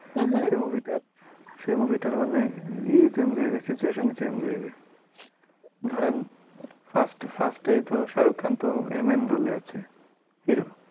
সেই movie টার মানে ই change হয়ে যায়, মানে situation ই change হয়ে যায়। ধরেন first first এই তো শাহরুখ খান তো এ main role এ আছে hero,